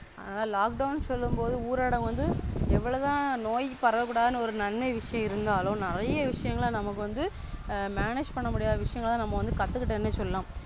ஆனா Lockdown சொல்லும் போது ஊரடங்கு வந்து எவ்வளோதான் நோய் பரவ கூடாது. ஒரு நன்மை விஷயம் இருந்தாலும் நெறைய விஷயங்கள் நமக்கு வந்து Manage பண்ண முடியாத விஷயங்களதா கத்துக்காட்டோம்னு சொல்லலாம்.